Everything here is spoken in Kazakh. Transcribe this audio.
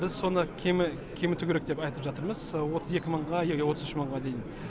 біз соны кеміту керек деп айтып жатырмыз отыз екі мыңға или отыз үш мыңға дейін